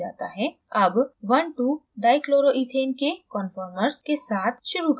अब 12dichloroethane के conformers conformers के साथ शुरू करते हैं